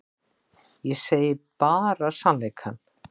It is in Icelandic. Ég segi bara sannleikann.